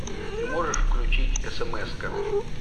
ты можешь включить смска